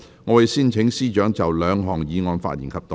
我會先請司長就兩項議案發言及動議第一項議案。